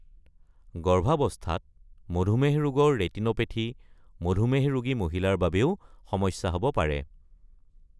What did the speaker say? গৰ্ভাৱস্থাত মধুমেহ ৰোগৰ ৰেটিনোপেথী মধুমেহ ৰোগী মহিলাৰ বাবেও সমস্যা হ’ব পাৰে।